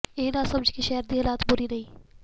ਇਹ ਨਾ ਸਮਝ ਕਿ ਸ਼ਹਿਰ ਦੀ ਹਾਲਤ ਬੁਰੀ ਨਹੀਂ